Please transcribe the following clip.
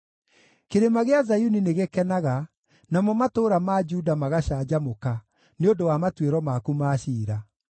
Kĩrĩma gĩa Zayuni nĩgĩkenaga, namo matũũra ma Juda magacanjamũka nĩ ũndũ wa matuĩro maku ma ciira.